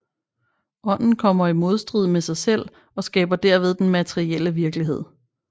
Ånden kommer i modstrid med sig selv og skaber derved den materielle virkelighed